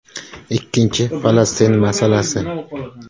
Ikkinchisi Falastin masalasi.